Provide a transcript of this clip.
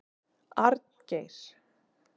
Arngeir